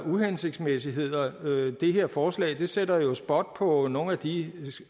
uhensigtsmæssigheder det her forslag sætter jo spot på nogle af de